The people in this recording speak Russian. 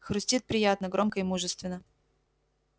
хрустит приятно громко и мужественно